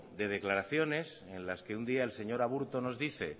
de declaraciones en las que un día el señor aburto nos dice